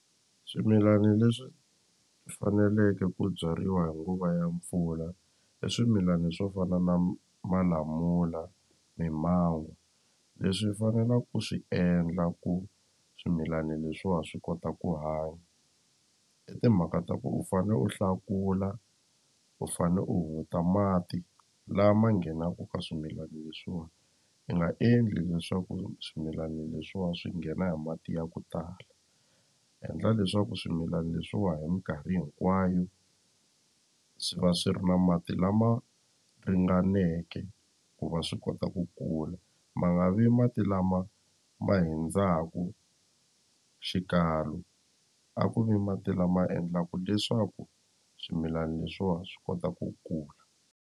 Swimilani leswi faneleke ku byariwa hi nguva ya mpfula i swimilani swo fana na malamula, mimango leswi fanelaku swi endla ku swimilani leswiwa swi kota ku hanya i timhaka ta ku u fane u hlakula u fane u hunguta mati lama nghenaku ka swimilani leswiwa i nga endli leswaku swimilani leswiwa swi nghena hi mati ya ku tala endla leswaku swimilani leswiwa hi minkarhi hinkwayu swi va swi ri na mati lama ringaneke ku va swi kota ku kula ma nga vi mati lama ma hundzaku xikalo a ku vi mati lama endlaka leswaku swimilani leswiwa swi kota ku kula.